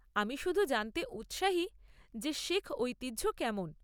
আমি শুধু জানতে উৎসাহী যে শিখ ঐতিহ্য কেমন।